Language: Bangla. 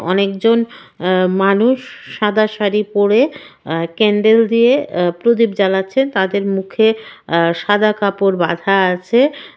অনেকজন অ্যা মানুষ সাদা শাড়ি পরে অ্যা ক্যান্ডেল দিয়ে অ্যা প্রদীপ জ্বালাচ্ছে। তাদের মুখে অ্যা সাদা কাপড় বাঁধা আছে ।